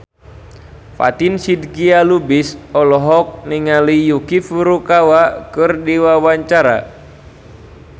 Fatin Shidqia Lubis olohok ningali Yuki Furukawa keur diwawancara